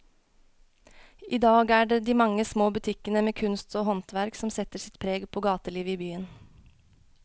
I dag er det de mange små butikkene med kunst og håndverk som setter sitt preg på gatelivet i byen.